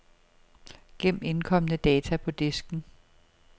Gem indkomne data på disken.